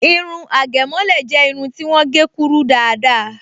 Irun àgẹ̀mọ́lẹ̀ jẹ́ irun ti wọ́n gé kúrú dáadáa